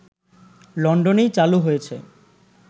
লন্ডনেই চালু হয়েছে